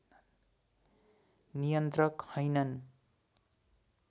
नियन्त्रक हैनन्